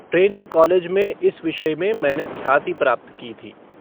Training college में इस विषय में मैंने ख्याति प्राप्त की थी।